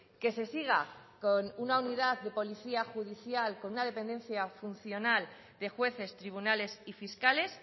que se siga con una unidad de policía judicial con una dependencia funcional de jueces tribunales y fiscales